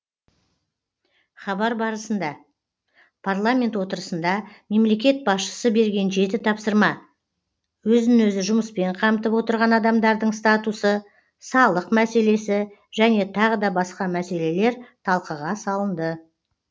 хабар барысында парламент отырысында мемлекет басшысы берген жеті тапсырма өзін өзі жұмыспен қамтып отырған адамдардың статусы салық мәселесі және тағы да басқа мәселелер талқыға салынды